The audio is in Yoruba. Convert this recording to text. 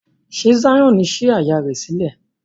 Ṣe Zion sí àyá rẹ sílẹ̀?